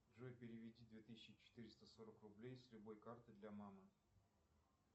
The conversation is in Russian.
джой переведи две тысячи четыреста сорок рублей с любой карты для мамы